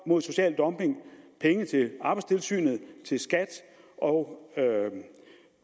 mod social dumping penge til arbejdstilsynet til skat og